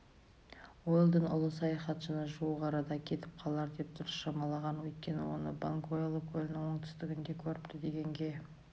уэлдон ұлы саяхатшыны жуық арада келіп қалар деп дұрыс шамалаған өйткені оны бангвеоло көлінің оңтүстігінде көріпті дегенге